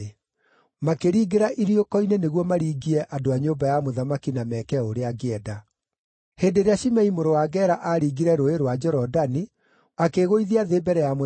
Makĩringĩra iriũko-inĩ nĩguo maringie andũ a nyũmba ya mũthamaki na meeke o ũrĩa angĩenda. Hĩndĩ ĩrĩa Shimei mũrũ wa Gera aaringire Rũũĩ rwa Jorodani akĩĩgũithia thĩ mbere ya mũthamaki,